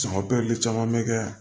caman bɛ kɛ yan